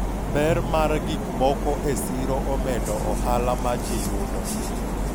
ber mar gikmoko e siro omedo ohala ma ji yudo